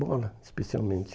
Bola, especialmente.